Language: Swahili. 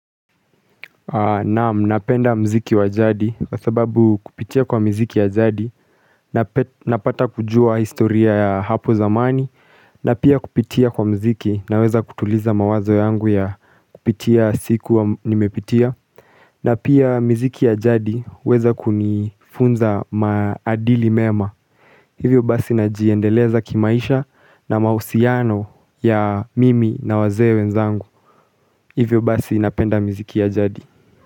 Naam, napenda mziki wa jadi, kwa sababu kupitia kwa mziki ya jadi, napata kujua historia ya hapo zamani, na pia kupitia kwa mziki na weza kutuliza mawazo yangu ya kupitia siku wa nimepitia na pia mziki ya jadi weza kunifunza maadili mema, hivyo basi najiendeleza kimaisha na mausiano ya mimi na wazee wenzangu, hivyo basi napenda mziki ya jadi.